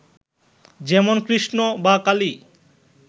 যেমন কৃষ্ণ বা কালী